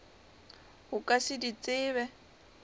o ka se di tsebe